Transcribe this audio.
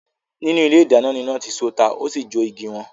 Nínú ilé idáná ni iná ti so tá ósì jó iée igi won.